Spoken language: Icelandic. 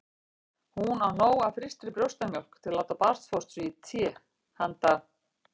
Hún á nóg af frystri brjóstamjólk til að láta barnfóstru í té handa